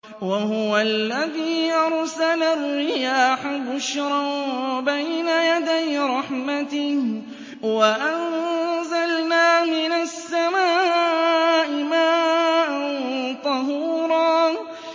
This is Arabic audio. وَهُوَ الَّذِي أَرْسَلَ الرِّيَاحَ بُشْرًا بَيْنَ يَدَيْ رَحْمَتِهِ ۚ وَأَنزَلْنَا مِنَ السَّمَاءِ مَاءً طَهُورًا